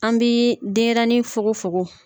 An b'i denyɛrɛnin fokofoko